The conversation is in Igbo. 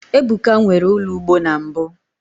ebuka nwere ulo ugbo na mbu